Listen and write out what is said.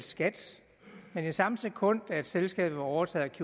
skat men i samme sekund selskabet var overtaget